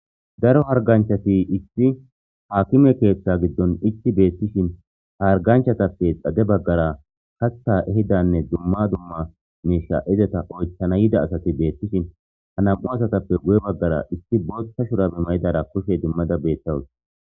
daro harganchati issi haakime keeththa giddon icci beettishin harganchatappe xade baggara katha ehidanne dumma dumma mesha izeta oytchana yida asati beettishin ha nam7u asatappe guye baggara isti boothta shurabumayidara koshe dimmada beettawus